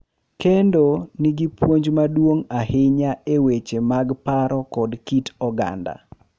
Kendo nigi puonj maduong’ ahinya e weche mag paro kod kit oganda